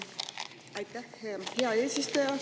Aitäh, hea eesistuja!